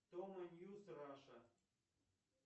томо ньюз раша